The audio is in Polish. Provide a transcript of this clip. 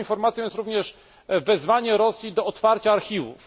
Dobrą informacją jest również wezwanie Rosji do otwarcia archiwów.